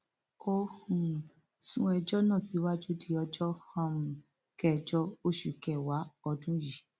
ó um sún ẹjọ náà síwájú di ọjọ um kẹjọ oṣù kẹwàá ọdún yìí